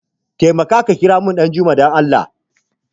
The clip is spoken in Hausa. Taimaka ka kiramun Ɗanjuma dan Allah!